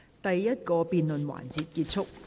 第一個辯論環節結束。